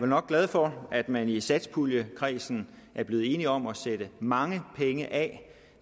nok glad for at man i satspuljekredsen er blevet enige om at sætte mange penge af